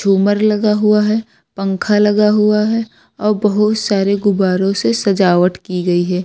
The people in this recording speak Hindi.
झूमर लगा हुआ है पंखा लगा हुआ है और बहुत सारे गुब्बारों से सजावट की गई है।